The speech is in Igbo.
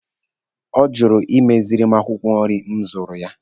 Ọ jụrụ ịmeziri m akwụkwọ nri m zụrụ ya.